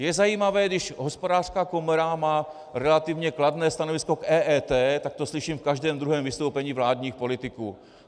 Je zajímavé, když Hospodářská komora má relativně kladné stanovisko k EET, tak to slyším v každém druhém vystoupení vládních politiků.